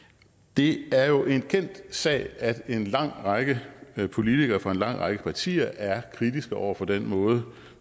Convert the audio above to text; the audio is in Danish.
det er jo en kendt sag at en lang række politikere fra en lang række partier er kritiske over for den måde